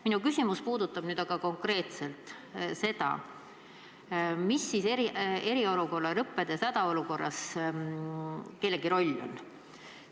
Minu küsimus puudutab aga konkreetselt seda, mis eriolukorra lõppedes hädaolukorras kellegi roll on.